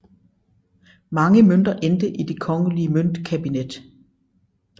Mange mønter endte i det Kongelige Møntkabinet